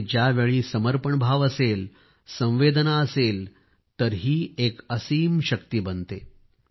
आणि ज्यावेळी समर्पण भाव असेल संवेदना असेल तर ही एक असीम शक्ती बनते